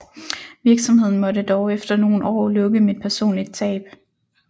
Virksomheden måtte dog efter nogle år lukke med et personligt tab